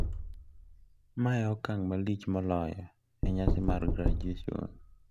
Ma e okang` malich moloyo e nyasi mar graduation.